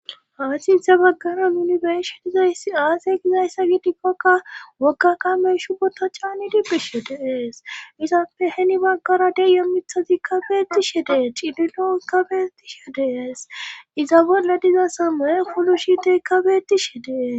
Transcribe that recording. hansinthe baggaran yunibershi dizaysi aase gizayssa gidikkokka wogga kamey shu bota caanidibbisho deees izappe heni baggara deyo mithazi kabeeti she dee cidilon kabeti she deees iza bolle diza samoye fulu shite kabeeti she dees